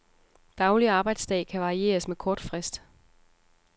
Daglig arbejdsdag kan varieres med kort frist.